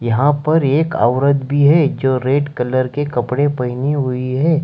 यहां पर एक औरत भी है जो रेड कलर के कपड़े पहनी हुई है।